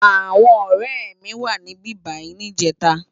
Awòn òrè mi wá sibibáyi nijètá